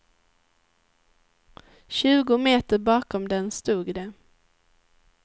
Tjugo meter bakom den stod de.